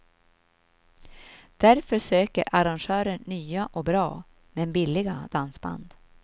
Därför söker arrangörer nya och bra, men billiga dansband.